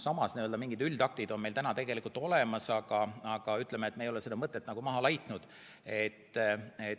Mingid üldaktid on meil täna tegelikult olemas, aga ütleme, et me ei ole seda mõtet maha laitnud.